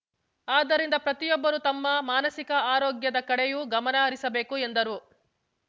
ಆದ್ದರಿಂದ ಪ್ರತಿಯೊಬ್ಬರೂ ತಮ್ಮ ಮಾನಸಿಕ ಆರೋಗ್ಯದ ಕಡೆಯೂ ಗಮನ ಹರಿಸಬೇಕು ಎಂದರು